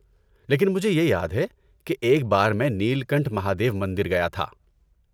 لیکن مجھے یہ یاد ہے کہ ایک بار میں نیل کنٹھ مہادیو مندر گیا تھا۔